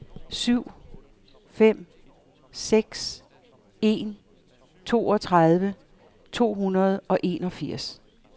syv fem seks en toogtredive to hundrede og enogfirs